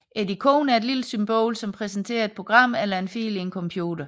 Et ikon er et lille symbol som repræsenterer et program eller en fil i en computer